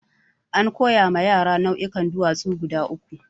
An koya wa yara nau'ikan duwatsu guda uku.